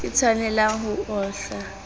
ke tshwanelwang ho o hlwa